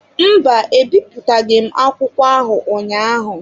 Mba, ebipụtaghị m akwụkwọ ahụ ụnyaahụ.